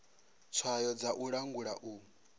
tswayo dza u langula u